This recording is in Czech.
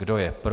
Kdo je pro?